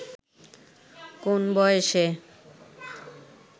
কোন বয়সে